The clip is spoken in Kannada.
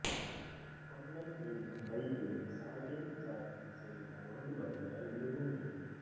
ಕೊಂಡನ್ ಮೀನು ಬೈಗೆ ಸಾರ್ಡಿನ್ ಜಾತಿಗೆ ಸೇರಿದ ಒಂದು ಬಗೆಯ ಎಲುಬು ಮೀನು